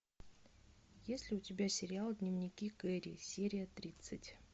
есть ли у тебя сериал дневники кэрри серия тридцать